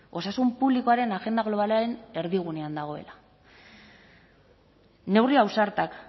osasun publikoaren agenda globalaren erdigunean dagoela neurri ausartak